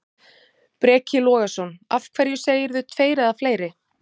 Breki Logason: Af hverju segirðu tveir eða fleiri?